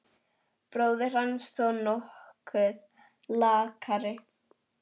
Bróðir hans þó nokkuð lakari.